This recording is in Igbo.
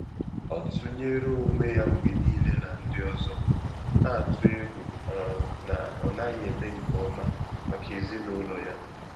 Ọ́ tụ́nyéré ónwé yá mgbè níílé nà ndị́ ọzọ, nà-àtụ́ égwú um nà ọ nàghị́ èmé nké ọmà màkà èzínụ́lọ yá.